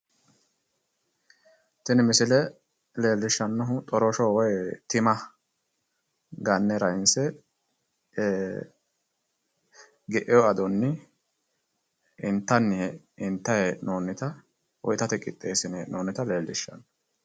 Tini misile leellushannohi koshiro woyi tima ganne rainsse geino adonni intayi hee'noonita woyi itate qixxeessinoonnita leellishshanno.